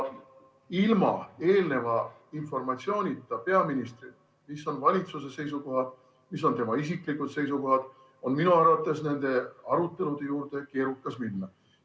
Ilma eelneva informatsioonita peaministrilt selle kohta, mis on valitsuse seisukohad, mis on tema isiklikud seisukohad, on minu arvates nende arutelude juurde keerukas minna.